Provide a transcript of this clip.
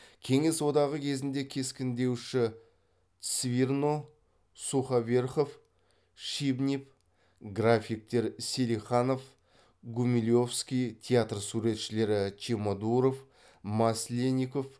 кеңес одағы кезінде кескіндеуші цвирно суховерхов шибнев графиктер селиханов гумилевский театр суретшілері чемодуров маслеников